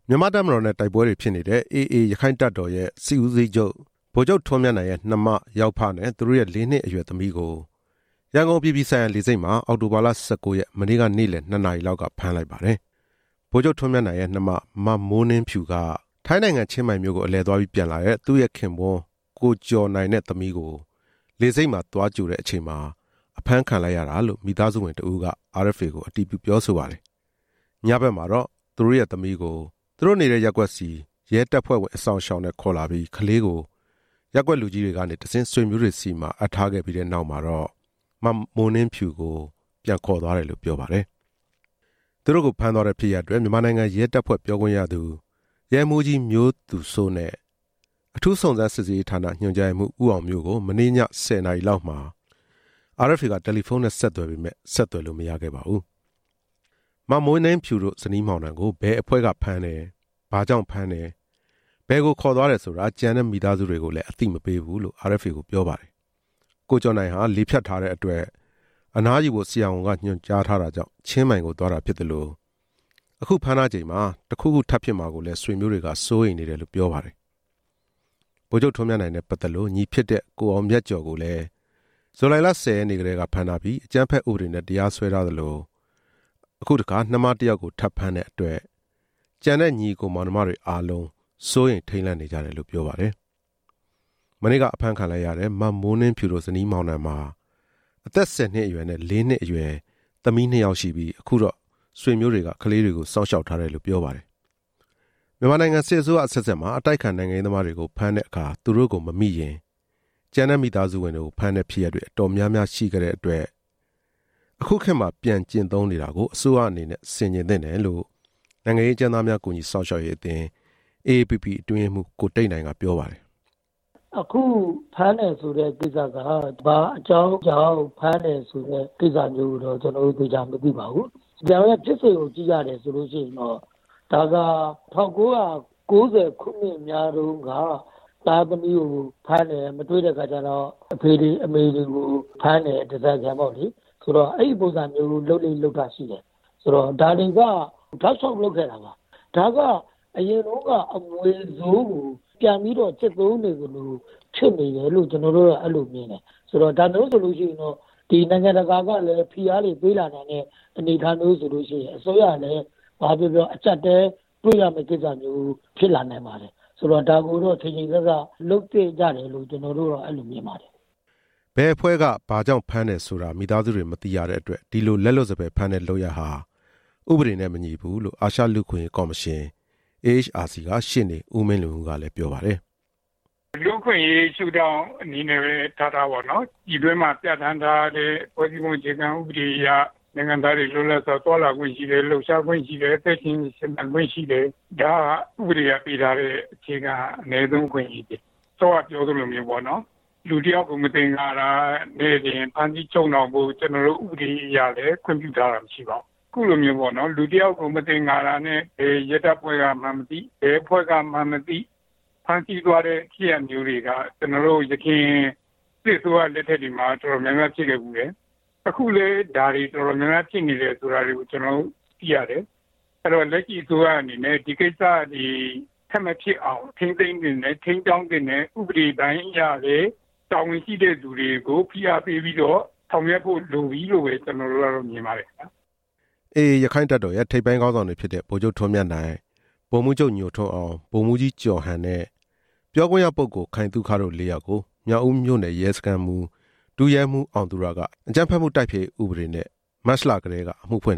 မြန်မာ့တပ်မတော်နဲ့တိုက်ပွဲတွေဖြစ်နေတဲ့ AA ရခိုင့်တပ်တော်ရဲ့ စစ်ဦးစီးချုပ် ဗိုလ်ချုပ် ထွန်းမြတ်နိုင်ရဲ့ နှမ၊ ယောက်ဖနဲ့ သူတို့ရဲ့ လေးနှစ်အရွယ်သမီးကို ရန်ကုန်အပြည်ပြည်ဆိုင်ရာလေဆိပ်မှာ အောက်တိုဘာလ ၁၉ ရက်၊ မနေ့ နေ့လယ် ၂ နာရီလောက်က ဖမ်းလိုက်ပါတယ်။ ဗိုလ်ချုပ် ထွန်းမြတ်နိုင်ရဲ့နှမ မမိုးနှင်းဖြူက ထိုင်းနိုင်ငံ ချင်းမိုင်မြို့ကို အလည်သွားပြီးပြန်လာတဲ့ သူ့ခင်ပွန်း ကိုကျော်နိုင်နဲ့သမီးကို လေဆိပ်မှာ သွားကြိုတဲ့အချိန်မှာ အဖမ်းခံလိုက်ရတာလို့ မိသားဝင် တစ်ဦးက RFA ကိုပြောပါတယ်။ ညဖက်မှာတော့ မမိုးနှင်းဖြူနဲ့သမီးကို သူတို့နေတဲ့ရပ်ကွက်ဆီ ရဲတပ်ဖွဲ့ဝင် အစောင့်အရှောက်နဲ့ခေါ်လာပြီး ကလေးကို ရပ်ကွက်လူကြီးတွေကနေတဆင့် ဆွေမျိုးတွေဆီမှာ အပ်ထားခဲ့ပြီးတဲ့နောက် မမိုးနှင်းဖြူကို ပြန်ခေါ်သွားတယ်လို့ပြောပါတယ်။ သူတို့ကိုဖမ်းသွားတဲ့ဖြစ်ရပ်အတွက် မြန်မာနိုင်ငံ ရဲတပ်ဖွဲ့ပြောခွင့်ရသူ ရဲမှူးကြီး မျိုးသူစိုးနဲ့ အထူးစုံစမ်း စစ်ဆေးရေးဌာန ညွှန်ကြားရေးမှူး ဦးအောင်မျိုးကို မနေ့ည ၁၀ နာရီလောက်မှာ RFA က တယ်လီဖုန်း နဲ့ဆက်သွယ်ပေမယ့် ဆက်သွယ်လို့မရပါဘူး။ မမိုးနှင်းဖြူတို့ဇနီးမောင်နှံကို ဘယ်အဖွဲ့ကဖမ်းတယ်၊ ဘာကြောင့်ဖမ်းတယ်၊ ဘယ်ခေါ်သွားတယ် ဆိုတာ ကျန်တဲ့မိသားစုတွေကိုလည်း အသိမပေးဘူးလို့ မိသားစုဝင်တစ်ဦးက RFA ကိုပြောပါတယ်။ ကိုကျော်နိုင်ဟာ လေဖြတ်ထားတဲ့အတွက် အနားယူဖို့ ဆရာဝန်ကညွှန်ကြားထားတာကြောင့် ချင်းမိုင် ကိုသွားတာဖြစ်သလို၊ အခုဖမ်းထားချိန်မှာ တစ်ခုခုထပ်ဖြစ်မှာကိုလည်း ဆွေမျိုးတွေက စိုးရိမ်နေတယ်လို့ ပြောပါတယ်။ ဗိုလ်ချုပ် ထွန်းမြတ်နိုင်နဲ့ပတ်သက်လို့ ညီဖြစ်တဲ့ ကိုအောင်မြတ်ကျော်ကိုလည်း ဇူလိုင်လ ၁၀ ရက်နေ့ ကတည်းကဖမ်းထားပြီး အကြမ်းဖက်ဥပဒေနဲ့ တရားစွဲထားသလို၊ အခုတစ်ခါ နှမတစ်ယောက်ကို ထပ်ဖမ်းတဲ့အတွက် ကျန်တဲ့ ညီအကိုမောင်နှမတွေအားလုံး စိုးရိမ်ထိပ်လန့်နေကြတယ်လို့ ပြောပါတယ်။ မနေ့ကအဖမ်းခံလိုက်ရတဲ့ မမိုးနှင်းဖြူတို့ဇနီးမောင်နှံမှာ အသက် ၁၀ အရွယ်နဲ့ ၄ နှစ်အရွယ် သမီးနှစ်ယောက်ရှိပြီး အခုတော့ ဆွေမျိုးတွေကစောင့်ရှောက်ထားတယ်လို့ ပြောပါတယ်။ မြန်မာနိုင်ငံ စစ်အစိုးရအဆက်ဆက်မှာ အတိုက်အခံ နိုင်ငံရေးသမားတွေကို ဖမ်းတဲ့အခါ သူတို့ကိုမမိရင် ကျန်တဲ့မိသားစုဝင်တွေကို ဖမ်းတဲ့ဖြစ်ရပ်တွေ အတော်များများရှိခဲ့တဲ့အတွက် အခုခေတ်မှာ ပြန်ကျင့်သုံးနေတာကို အစိုးရအနေနဲ့ ဆင်ခြင်သင့်တယ်လို့ နိုင်ငံရေးအကျဉ်းသားများ ကူညီစောင့်ရှောက်ရေး အသင်း AAPP အတွင်းရေးမှူး ကိုတိတ်နိုင်ကပြောပါတယ်။ "အခုဖမ်းတယ်ဆိုတဲ့ကိစ္စက ဘာကြောင့်ဖမ်းတယ်ဆိုတာတွေ ကျနော်တို့ သေသေချာချာ မသိရသေး ပါဘူး။ ဒါပေမဲ့ ဖြစ်စဉ်ကိုကြည့်တဲ့အခါ၊ ဒါက ၁၉၉၀ နှစ်တွေတုန်းက သားသမီးဖမ်းတဲ့အခါမှာ မမိလို့ အဖေတွေအမေတွေကို ဖမ်းတယ်၊ ဓားစာခံပေါ့လေ။ ဆိုတော့ အဲဒီပုံစံမျိုး လုပ်လေ့လုပ်ထရှိတယ်။ ဒါတွေက တောက်လျှောက်လုပ်ခဲ့တာပါ။ ဒါကအရင်တုန်းက အမွေဆိုးကိုပြန်ပြီးတော့ ကျင့်သုံးနေသလို ဖြစ်နေတယ်လို့ ကျနော်တို့က အဲဒီလိုမြင်တယ်။ ဒါမျိုးဆိုရင်တော့ နိုင်ငံတကာကလည်း ဖိအားတွေပေးလာနိုင်တဲ့ အနေအထားမျိုးဆိုလို့ရှိရင် အစိုးရကလည်း ဘာပဲပြောပြော အကျပ်အတည်းတွေ့ရမယ့် ကိစ္စမျိုးဖြစ်လာနိုင်ပါတယ်။ ဆိုတော့ ဒါကိုတော့ ချိန်ချိန်ဆဆလုပ်သင့်တယ်လို့ ထင်ပါတယ်" ဘယ်အဖွဲ့က ဘာကြောင့်ဖမ်းတာလဲဆိုတာ မိသားစုတွေ မသိရတဲ့အတွက် ဒီလိုလက်လွတ်စပယ် ဖမ်းတဲ့လုပ်ရပ်ဟာ ဥပဒေနဲ့မညီဘူးလို့ အာရှလူ့အခွင့်အရေးကော်မရှင် AHRC က ရှေ့နေ ဦးမင်းလွင်ဦး ကလည်း ပြောပါတယ်။ "လူ့အခွင့်အရေးရှုထောင့်အနေနဲ့ပဲ ထားထားပေါ့လေ။ ပြည်တွင်းမှာ ပြဌာန်းထားတဲ့ ဖွဲ့စည်းပုံအခြေခံ ဥပဒေအရ နိုင်ငံသားတွေ လွတ်လပ်စွာ သွားလာခွင့်ရှိတယ်။ လှုပ်ရှားခွင့်ရှိတယ်။ အသက်ရှင်သန်ခွင့်ရှိ တယ်။ ဒါဟာ ဥပဒေကပေးထားတဲ့ အခြေခံအနည်းဆုံး အခွင့်အရေးဖြစ်တယ်။ စောစောကပြောသလို လူတစ်ယောက်ကို မသင်္ကာတာနဲ့တင် ဖမ်းဆီးချုပ်နှောင်ဖို့ ဥပဒေအရလည်း ခွင့်ပြုထားတာမရှိပါဘူး။ အခုလိုမျိုးပေါ့နော် လူတစ်ယောက်ကို မသင်္ကာတာနဲ့ ဘယ်ရဲတပ်ဖွဲ့ကမှန်းမသိ၊ ဘယ်အဖွဲ့ကမှန်းမသိ ဖမ်းဆီးသွားတဲ့ဖြစ်ရပ်မျိုးတွေက ကျနော်တို့ ယခင် စစ်အစိုးရလက်ထက်မှာ တော်တော်များများဖြစ်ခဲ့ဖူးတယ်။ အခုလည်း ဒါတွေ တော်တော်များများဖြစ်နေတယ်ဆိုတာ ကျနော်တို့သိရတယ်။ အဲတော့ လက်ရှိအစိုးရအနေနဲ့ ဒီကိစ္စတွေ ထပ်မဖြစ်အောင် ထိန်းသိမ်းသင့်တယ်၊ ထိန်းကြောင်းသင့်တယ်၊ ဥပဒေပိုင်းအရလည်း တာဝန်ရှိတဲ့သူတွေကို ဖိအားပေးပြီး ဆောင်ရွက်ဖို့လိုပြီလို့ ကျနော်တို့မြင်ပါတယ်" AA ရက္ခိုင့်တပ်တော်ရဲ့ ထိပ်ပိုင်းခေါင်းဆောင်တွေဖြစ်တဲ့ ဗိုလ်ချုပ် ထွန်းမြတ်နိုင်၊ ဗိုလ်မှူးချုပ် ညိုထွန်း အောင်၊ ဗိုလ်မှူးကြီး ကျော်ဟန်နဲ့ ပြောခွင့်ရပုဂ္ဂိုလ် ခိုင်သုခ တို့လေးယောက်ကို မြောက်ဦးမြို့နယ် စခန်းမှူး ဒုရဲမှူး အောင်သူရက အကြမ်းဖက်မှုတိုက်ဖျက်ရေးဥပဒေနဲ့ မတ်လကတည်းက အမှုဖွင့်